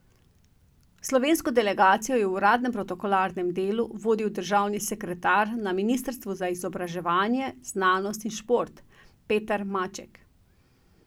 Slovensko delegacijo je v uradnem in protokolarnem delu vodil državni sekretar na ministrstvu za izobraževanje, znanost in šport Peter Maček.